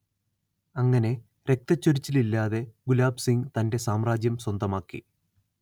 അങ്ങനെ രക്തച്ചൊരിച്ചിലില്ലാതെ ഗുലാബ് സിങ് തന്റെ സാമ്രാജ്യം സ്വന്തമാക്കി